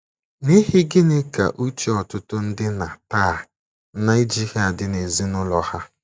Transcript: N’ihi gịnị ka uche ọtụtụ ndị nna taa na - ejighị adị n’ezinụlọ ha?